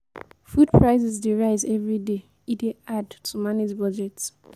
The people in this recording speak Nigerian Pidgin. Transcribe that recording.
Food prices dey rise every day; e dey hard to manage budget.